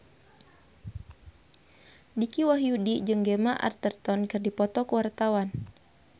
Dicky Wahyudi jeung Gemma Arterton keur dipoto ku wartawan